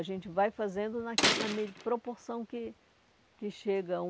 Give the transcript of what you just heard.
A gente vai fazendo proporção que que chega.